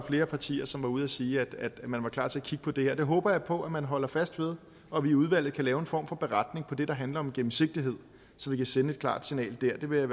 flere partier som var ude at sige at man var klar til at kigge på det her det håber jeg på at man holder fast ved og at vi i udvalget kan lave en form for beretning om det der handler om gennemsigtighed så vi kan sende et klart signal dér det vil jeg